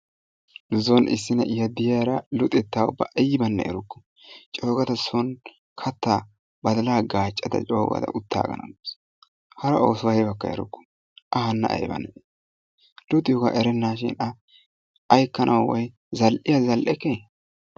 Nuson issi na'iya de'iyaara luxetta ubba aynne erukku coogada soon kattaa baddalaa gaccada coogada uttagana gaawusu. Hara oosuwa aybakka erukku. A hana ayba nae luxiyoaga erennashin A aykkanawu bay zal'iya zal'ekke